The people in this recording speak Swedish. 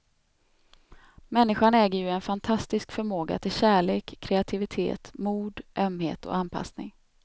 Människan äger ju en fantastisk förmåga till kärlek, kreativitet, mod, ömhet och anpassning.